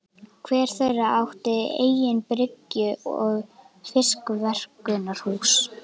Hver þeirra átti eigin bryggju og fiskverkunarhús.